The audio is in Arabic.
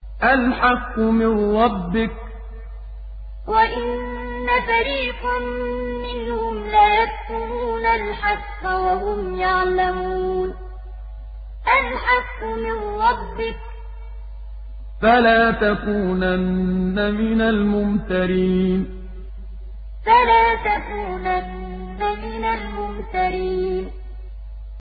الْحَقُّ مِن رَّبِّكَ ۖ فَلَا تَكُونَنَّ مِنَ الْمُمْتَرِينَ الْحَقُّ مِن رَّبِّكَ ۖ فَلَا تَكُونَنَّ مِنَ الْمُمْتَرِينَ